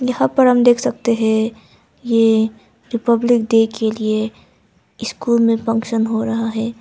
यहाँ पर हम देख सकते है ये रिपब्लिक डे के लिए स्कूल में फंक्शन हो रहा है।